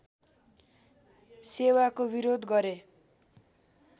सेवाको विरोध गरे